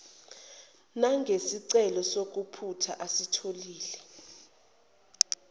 nangesicelo sokuphutha asitholile